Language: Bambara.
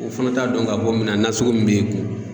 O fana t'a dɔn k'a fɔ minna nasugu min b'i kun.